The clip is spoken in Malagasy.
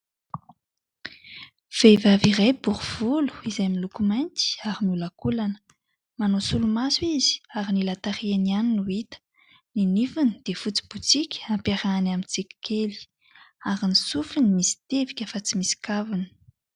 Vehivavy iray bory volo izay miloko mainty ary miolakolana, manao solomaso izy ary ny ila tarehiny ihany no hita. Ny nifiny dia fotsy botsika ampiarahany amin'ny tsiky kely ary ny sofiny misy tevika fa tsy misy kaviny.